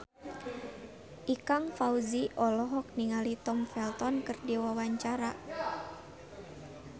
Ikang Fawzi olohok ningali Tom Felton keur diwawancara